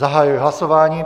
Zahajuji hlasování.